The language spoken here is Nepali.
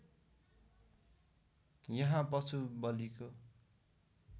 यहाँ पशु बलिको